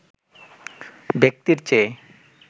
ব্যাক্তির চেয়ে